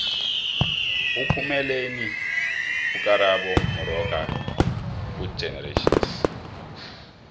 uphumeleni ukarabo moxoka kugenerations